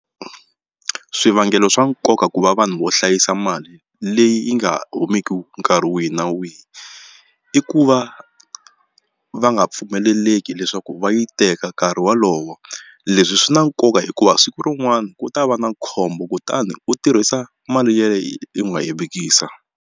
Swivangelo swa nkoka ku va vanhu vo hlayisa mali leyi yi nga humeki nkarhi wihi na wihi i ku va va nga pfumeleleki leswaku va yi teka nkarhi wolowo leswi swi na nkoka hikuva siku rin'wana ku ta va na khombo kutani u tirhisa mali u nga yi vekisa.